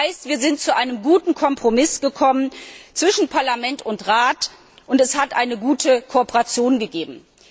Das heißt, wir sind zu einem guten Kompromiss zwischen Parlament und Rat gekommen, und es hat eine gute Kooperation gegeben.